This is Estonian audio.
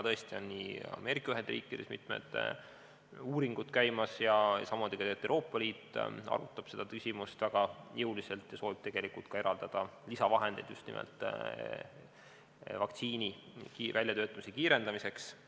Tõesti, Ameerika Ühendriikides on praegu mitmed uuringud käimas, samamoodi Euroopa Liit arutab seda küsimust väga jõuliselt ja soovib tegelikult ka eraldada lisavahendeid just nimelt vaktsiini väljatöötamise kiirendamiseks.